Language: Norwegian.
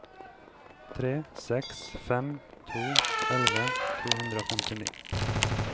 tre seks fem to elleve to hundre og femtini